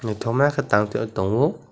nythoma ke tang taui tongo.